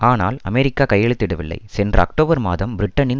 ஆனால் அமெரிக்கா கையெழுத்திடவில்லை சென்ற அக்டோபர் மாதம் பிரிட்டனின்